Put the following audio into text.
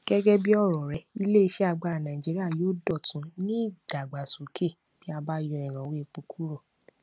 gẹgẹ bí ọrọ rẹ ilé iṣẹ agbára nàìjíría yóò dọtún ní ìdàgbàsókè bí a bá yọ ìrànwọ epo kúrò